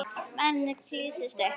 Maður kýlist upp.